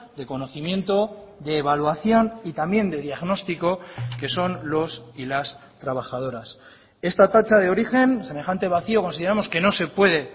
de conocimiento de evaluación y también de diagnóstico que son los y las trabajadoras esta tacha de origen semejante vacío consideramos que no se puede